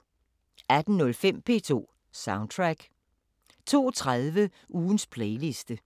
18:05: P2 Soundtrack 02:30: Ugens playliste